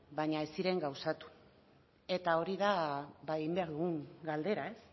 baina ez ziren gauzatu eta hori da egin behar dugun galdera ez